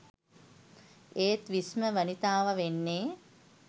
ඒත් විශ්ම වනිතාව වෙන්නෙ